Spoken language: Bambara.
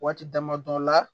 Waati dama dɔ la